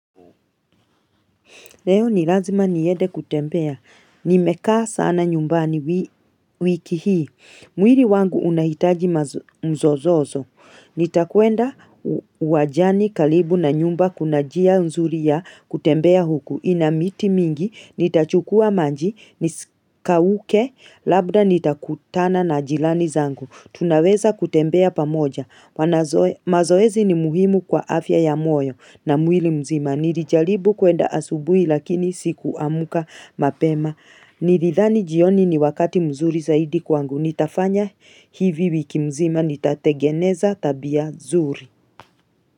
Leo ni lazima niede kutembea. Nimekaa sana nyumbani wiki hii. Mwili wangu unahitaji mzozozo. Nitakuenda uwajani kalibu na nyumba kuna jia nzuli ya kutembea huku. Ina miti mingi, nitachukua maji, nisikauke, labda nitakutana na jilani zangu. Tunaweza kutembea pamoja. Mazoezi ni muhimu kwa afya ya moyo na mwili mzima. Nilijalibu kuenda asubui lakini sikuamka mapema Nilidhani jioni ni wakati mzuri zaidi kwangu Nitafanya hivi wiki mzima nitategeneza tabia zuri.